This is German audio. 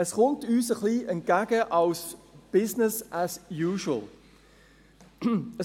Es kommt uns ein wenig als «business as usual» entgegen.